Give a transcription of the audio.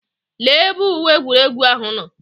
Lee ebe uwe egwuregwu ahụ nọ.